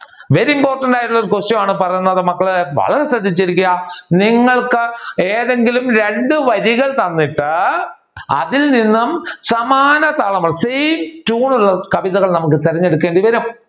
Very important ആയിട്ടുള്ള question ആണ് പറയുന്നത് മക്കൾ വളരെ ശ്രദ്ധിച്ചു ഇരിക്കുക നിങ്ങൾക്ക് ഏതെങ്കിലും രണ്ട് വരികൾ തന്നിട്ട് അതിൽ നിന്ന് സമാന താളം same tune ഉള്ള കവിതകൾ നമ്മുക്ക് തിരഞ്ഞെടുക്കേണ്ടി വരും